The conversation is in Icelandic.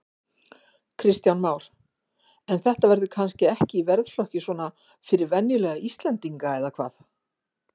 Kristján Már: En þetta verður kannski ekki í verðflokki svona fyrir venjulega íslendinga eða hvað?